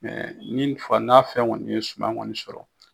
Mɛ n'a fɛn kɔni ye suman kɔni sɔrɔ